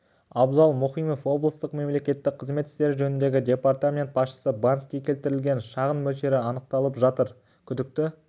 абзал мұхимов облыстық мемлекеттік қызмет істері жөніндегі департамент басшысы банкке келтірілген шығын мөлшері анықталып жатыр күдікті